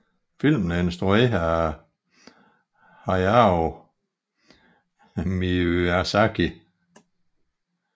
Filmen er instrueret af Hayao Miyazaki